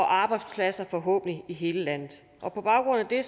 arbejdspladser forhåbentlig i hele landet på baggrund af det